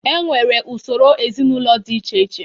E nwere usoro ezinaụlọ dị iche iche.